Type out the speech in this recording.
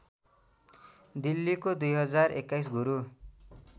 दिल्लीको २०२१ गुरु